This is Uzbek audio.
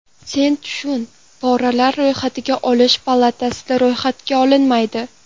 Sen tushun: poralar ro‘yxatga olish palatasida ro‘yxatga olinmaydi.